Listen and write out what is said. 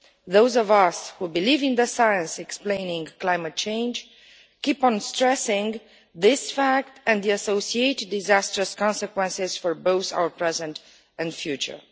Those of us who believe in the science explaining climate change keep on stressing this fact and the associated disastrous consequences for both our present and our future.